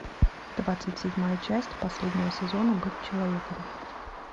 двадцать седьмая часть последнего сезона быть человеком